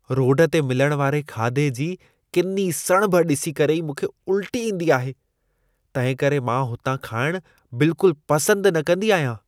Road ते मिलण वारे खाधे जी किनी सणिभ ॾिसी करे ई मूंखे उल्टी ईंदी आहे। तंहिं करे मां हुतां खाइणु बिल्कुलु पसंदि न कंदी आहियां।